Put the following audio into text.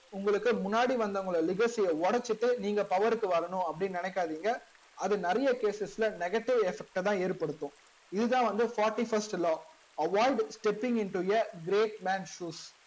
உங்களுக்கு முன்னாடி வந்தவங்களோட legacy ய ஒடச்சிட்டு நீங்க power க்கு வரணும் அப்டின்னு நினைக்காதிங்க அது நெறையா cases ல negative effect தா ஏற்படுத்தும் இது தா வந்து fourty first law avoid stepping into a great man shoes